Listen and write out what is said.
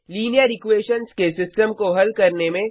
linear equations के system को हल करने में